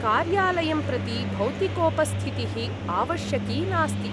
कार्यालयं प्रति भौतिकोपस्थितिः आवश्यकी नास्ति।